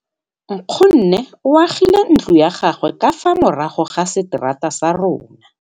Nkgonne o agile ntlo ya gagwe ka fa morago ga seterata sa rona.